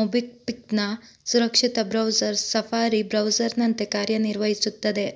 ಮೊಬಿಕ್ಪಿಪ್ನ ಸುರಕ್ಷಿತ browser Safari ಬ್ರೌಸರ್ನಂತೆ ಕಾರ್ಯನಿರ್ವಹಿಸುತ್ತದೆ